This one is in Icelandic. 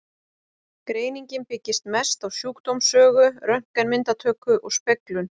Greiningin byggist mest á sjúkdómssögu, röntgenmyndatöku og speglun.